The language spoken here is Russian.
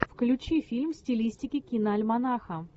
включи фильм в стилистике киноальманаха